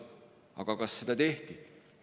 Aga kas seda tehti?